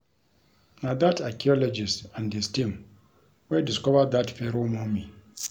Na dat archeologist and his team wey discover dat Pharoah Mummy